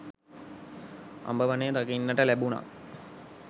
අඹ වනය දකින්නට ලැබුණා.